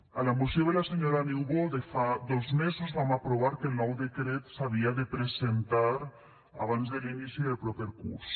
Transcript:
a la moció de la senyora niubó de fa dos mesos vam aprovar que el nou decret s’havia de presentar abans de l’inici del proper curs